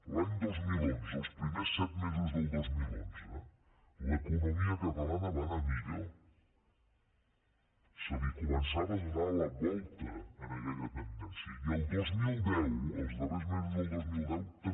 l’any dos mil onze els primers set mesos del dos mil onze l’economia catalana va anar millor es començava a donar la volta a aquella tendència i el dos mil deu els darrers mesos del dos mil deu també